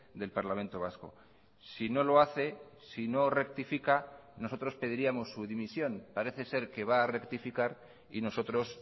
del parlamento vasco si no lo hace si no rectifica nosotros pediríamos su dimisión parece ser que va a rectificar y nosotros